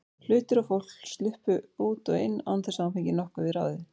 Hlutir og fólk sluppu út og inn án þess að hún fengi nokkuð við ráðið.